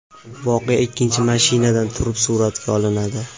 Voqea ikkinchi mashinadan turib suratga olinadi.